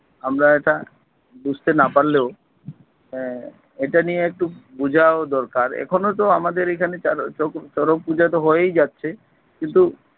আমরা এটা বুঝতে না পারলেও আহ এটা নিয়ে একটু আহ বোঝাও দরকার এখনো তো আমাদের এখানে চ~ চা~ চক~ চড়ক পূজাতো হয়েই যাচ্ছে কিন্তু